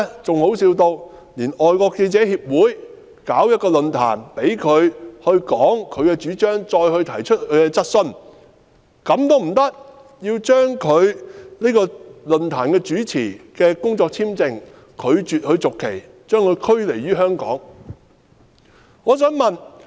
更搞笑的是，由於外國記者會舉辦論壇，讓陳浩天發表主張，並讓他回答質詢，政府便拒絕續發論壇主持的工作簽證，將他驅離香港。